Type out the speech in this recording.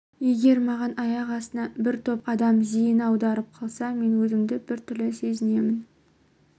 егер маған аяқ астынан бір топ адам зейін аударып қалса мен өзімді біртүрлі сезінемін